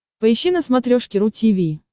поищи на смотрешке ру ти ви